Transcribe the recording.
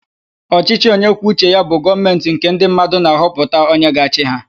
Ọchịchị onyekwuoucheya bụ Gọọmentị nke ndị mmadụ na-ahọpụta onye ga-achị ha.